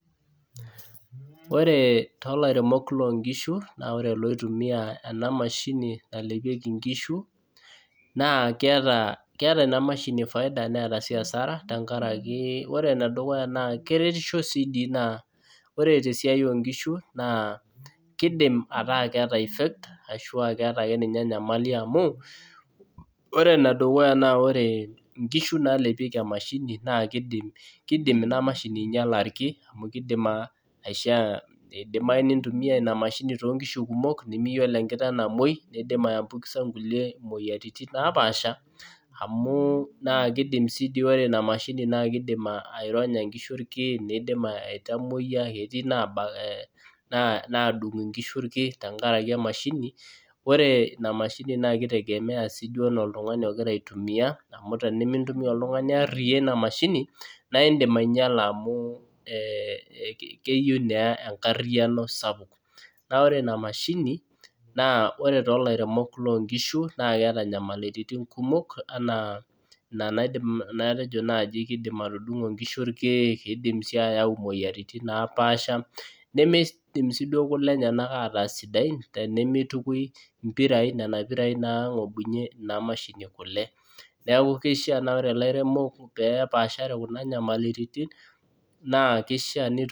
Ore tolairemok lonkishu na ore loitumia enamashini nalepieki nkishu na keeta enamashini faida neeta si hasara tenkaraki ore enedukuya na keretisho si ore tesiai onkishu nakidim ataa keeta enyamali amu ore enedukuya na ore nkishu nalepieki emashini kidim inamashini ainyela irkien amu idimai nintumia inamashini tonkishu kumok nimiyioloebkiteng namoi nindim aiambukiza nkulie emoyian napaasha amu kidim si ore inamashini kidim aironya kidim aitamoyia amu etii nadung nkishu rkin tenkaraki emashini, ore emashini na kitegemea si duo ana oltungani ogira aitumia amu tenumintumia oltungani ariya inamashini na indim ainyala amu keyieu na enkariano sapuk na ore inamashini ore to lairemok loonkishu na keeta nyamalitin kumok.